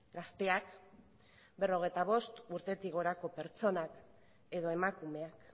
gazteak berrogeita bost urtetik gorako pertsonak edo emakumeak